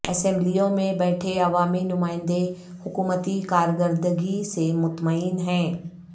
اسمبلیوں میں بیٹھے عوامی نمائندے حکومتی کارکردگی سے مطمئن ہیں